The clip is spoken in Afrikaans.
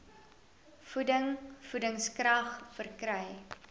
voeding voedingskrag verkry